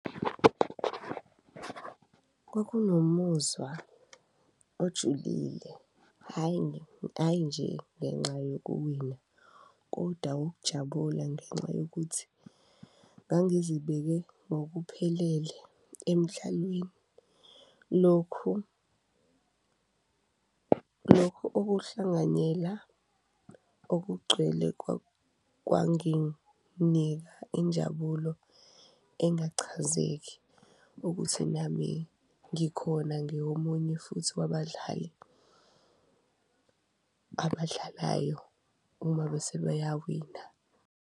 Kwakunomuzwa ojulile, hhayi, ayi nje ngenxa yokuwina koda ukujabula ngenxa yokuthi ngangizibeke ngokuphelele emdlalweni, lokhu okuhlanganyela okugcwele kwanginika injabulo engachazeki. Ukuthi nami ngikhona ngiwomunye futhi wabadlali abadlalayo uma bese beyawina.